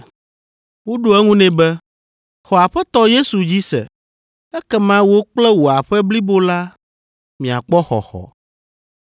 Woɖo eŋu nɛ be, “Xɔ Aƒetɔ Yesu dzi se, ekema wò kple wò aƒe blibo la miakpɔ xɔxɔ.”